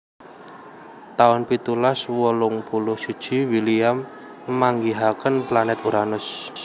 taun pitulas wolung puluh siji William manggihaken planèt Uranus